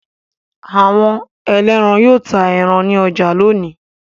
Awọn ẹlẹ́ran yóò ta ẹran ní ọjà lónìí.